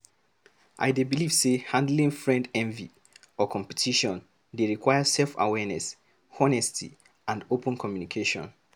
I dey believe say handling friend envy or competition dey require self-awareness, honesty, and open communication.